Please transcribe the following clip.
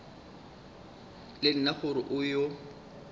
le nna gore o yo